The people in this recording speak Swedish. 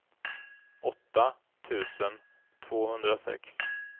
åtta tusen tvåhundrasex